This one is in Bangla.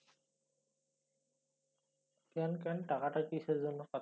ক্যান ক্যান টাকাটা কিসের জন্য